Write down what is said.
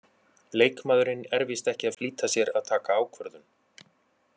Leikmaðurinn er víst ekki að flýta sér að taka ákvörðun.